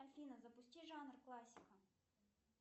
афина запусти жанр классика